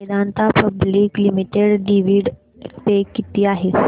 Vedanta public limited dividend pay किती आहे